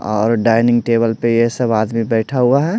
और dining table पर यह सब आदमी बैठा हुआ है।